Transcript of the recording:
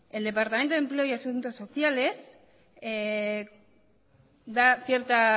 el departamento de empleo y asuntos sociales da cierta